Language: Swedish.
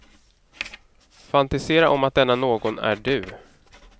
Fantisera om att denna någon är du.